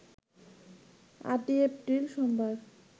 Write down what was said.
৮ই April সোমবার